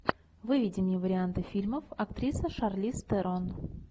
выведи мне варианты фильмов актриса шарлиз терон